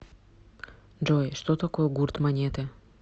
джой что такое гурт монеты